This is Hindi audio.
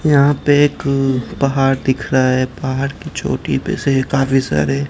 यहां पे एक पहाड़ दिख रहा है पहाड़ की चोटी पे से काफी सारे--